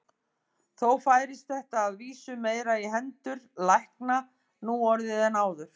Þó færist þetta að vísu meira í hendur lækna nú orðið en áður.